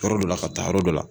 Yɔrɔ dɔ la ka taa yɔrɔ dɔ la.